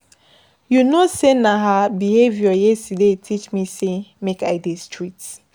You know sey na her behaviour yesterday teach me sey make I dey strict.